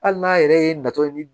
Hali n'a yɛrɛ ye natɔ ye